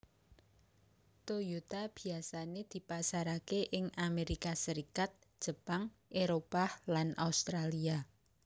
Toyota biyasané dipasaraké ing Amerika Serikat Jepang Éropah lan Australia